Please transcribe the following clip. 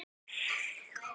Þetta er vel borgað.